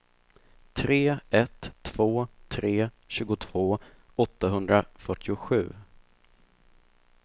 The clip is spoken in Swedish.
tre ett två tre tjugotvå åttahundrafyrtiosju